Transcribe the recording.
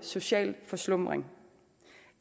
social forslumring